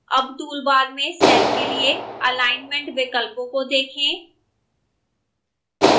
अब table toolbar में cell के लिए अलाइनमेंट विकल्पों को देखें